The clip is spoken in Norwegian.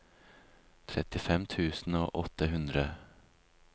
trettifem tusen og åtte hundre